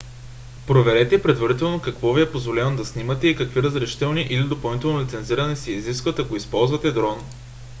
проверете предварително какво ви е позволено да снимате и какви разрешителни или допълнително лицензиране се изискват ако използвате дрон